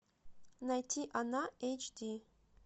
найти она эйч ди